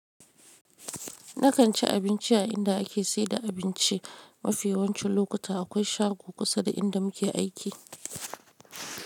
Nakan ci abinci a inda ake saida abinci. Mafiyancin lokuta akwai shago kusa da inda muke aiki.